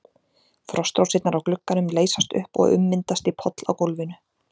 Frostrósirnar á glugganum leysast upp og ummyndast í poll á gólfinu.